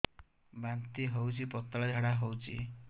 ବାନ୍ତି ହଉଚି ପତଳା ଝାଡା ହଉଚି